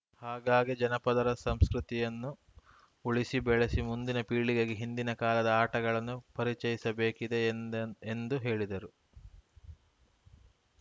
ಹಾಗಾಗಿ ಜಾನಪದರ ಸಂಸ್ಕೃತಿಯನ್ನು ಉಳಿಸಿ ಬೆಳೆಸಿ ಮುಂದಿನ ಪೀಳಿಗೆಗೆ ಹಿಂದಿನ ಕಾಲದ ಆಟಗಳನ್ನು ಪರಿಚಯಿಸಬೇಕಿದೆ ಎಂದ ಎಂದು ಹೇಳಿದರು